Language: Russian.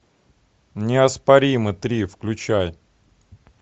неоспоримый три включай